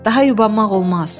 Daha yubanmaq olmaz.